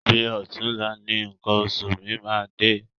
Bi ọ̀túnla ni nǹkan oṣù mi máa dé.